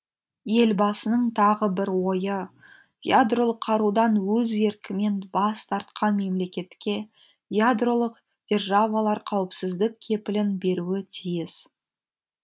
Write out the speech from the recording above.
елбасының тағы бір ойы ядролық қарудан өз еркімен бас тартқан мемлекетке ядролық державалар қауіпсіздік кепілін беруі тиіс